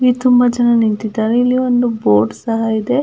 ಇಲ್ಲಿ ತುಂಬ ಜನ ನಿಂತಿದಾರೆ ಇಲ್ಲಿ ಒಂದು ಬೋರ್ಡ್ ಸಹ ಇದೆ.